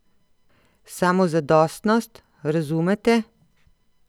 Samozadostnost, razumete?